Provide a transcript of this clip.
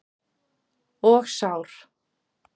Og sár.